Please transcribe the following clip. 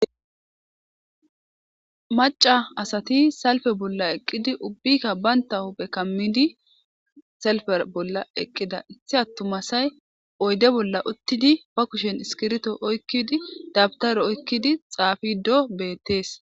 Macca asati salfe bolla eqqidi ubbikka banta huphe kammidi salfe bolla eqqidayti attumasay oyde bolla uttidi ba kushen iskirito oykkidi dabtaro oykkidi xaafido beettees.